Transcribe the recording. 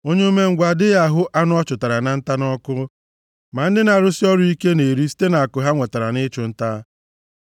Onye umengwụ adịghị ahụ anụ ọ chụtara na nta nʼọkụ, ma ndị na-arụsị ọrụ ike na-eri site nʼakụ ha nwetara nʼịchụ nta.